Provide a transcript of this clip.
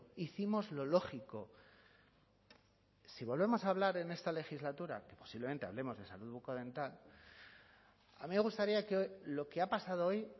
hicimos lo lógico si volvemos a hablar en esta legislatura que posiblemente hablemos de salud bucodental a mí me gustaría que lo que ha pasado hoy